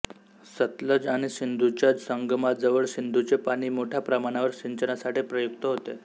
सतलज आणि सिंधूच्या संगमाजवळ सिंधूचे पाणी मोठ्या प्रमाणावर सिंचनासाठी प्रयुक्त होते